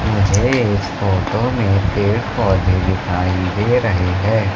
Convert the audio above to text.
मुझे इस फोटो में पेड़ पौधे दिखाई दे रहे हैं।